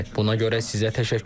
Buna görə sizə təşəkkür edirəm.